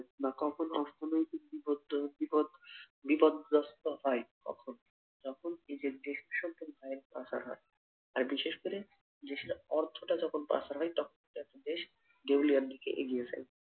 বা কখন অর্থনৈতিক বিপদ্দ বিপদ বিপদগ্রস্ত হয় কখন যখন নিজের পাচার হয়, আর বিশেষ করে দেশের অর্থটা যখন পাচার হয় তখন একটা দেশ দেউলিয়ার দিকে এগিয়ে যায়।